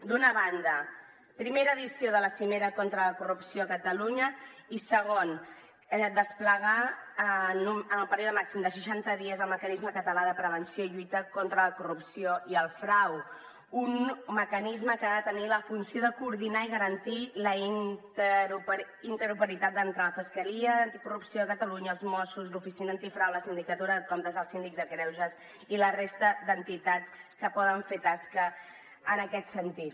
d’una banda primera edició de la cimera contra la corrupció a catalunya i segon desplegar en el període màxim de seixanta dies el mecanisme català de prevenció i lluita contra la corrupció i el frau un mecanisme que ha de tenir la funció de coordinar i garantir la interoperabilitat entre la fiscalia anticorrupció de catalunya els mossos l’oficina antifrau la sindicatura de comptes el síndic de greuges i la resta d’entitats que poden fer tasca en aquest sentit